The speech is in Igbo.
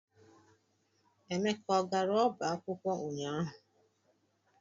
Emeka ọ gara ọba akwụkwọ ụnyaahụ?